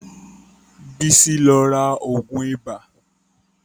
Bisi lọ ra ògùn ibà